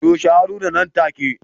Toshe Haruna nan take